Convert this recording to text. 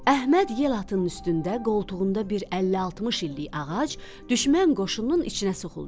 Əhməd yel atının üstündə, qoltuğunda bir 50-60 illik ağac, düşmən qoşununun içinə soxuldu.